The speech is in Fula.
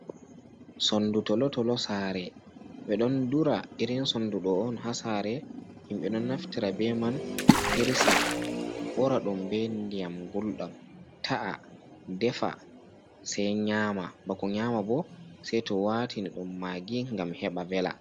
Sondu tolotolo sare, ɓe don dura irin sondu ɗo on ha sare, himɓe ɗon naftira be man hirsa, ɓura ɗum be diyam gulɗam, ta’a defa sai nyama, bako nyama bo sai to watini ɗum magi gam heɓa vela.